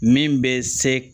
Min bɛ se